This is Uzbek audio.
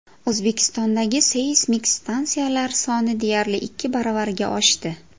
O‘zbekistondagi seysmik stansiyalar soni deyarli ikki baravarga oshdi.